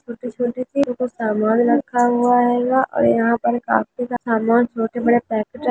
छोटी सी यहा पर सामान रखा हुआ हेगा और यहा पर ऑफिस का सामान छोटे बड़े पाकेट --